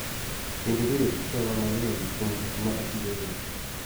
Kendo bedo gi kiawa mang�eny kuom gik ma atiyogo.